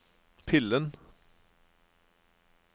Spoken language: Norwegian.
pillen